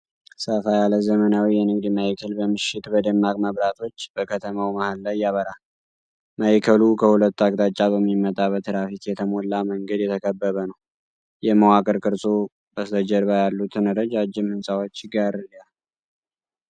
ሰፋ ያለ ዘመናዊ የንግድ ማዕከል በምሽት በደማቅ መብራቶች በከተማው መሃል ላይ ያበራል። ማዕከሉ ከሁለት አቅጣጫ በሚመጣ በትራፊክ የተሞላ መንገድ የተከበበ ነው፣ የመዋቅር ቅርጹ በስተጀርባ ያሉትን ረጃጅም ህንፃዎች ይጋርዳል።